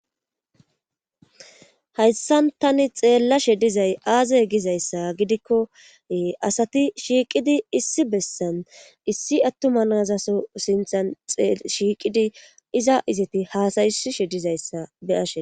Hayssan tani xeellashe dizay aaze gizayssa gidikko asati shiiqidi issi bessan issi attuma nazaso sinthan shiiqidi iza izeti haasaysishe dizayssa be7ashe.